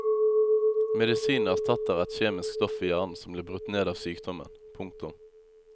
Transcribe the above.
Medisinen erstatter er kjemisk stoff i hjernen som blir brutt ned av sykdommen. punktum